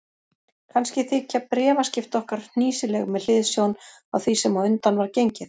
Kannski þykja bréfaskipti okkar hnýsileg með hliðsjón af því sem á undan var gengið.